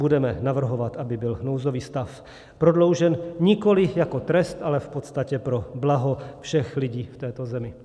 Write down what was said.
Budeme navrhovat, aby byl nouzový stav prodloužen nikoliv jako trest, ale v podstatě pro blaho všech lidí v této zemi.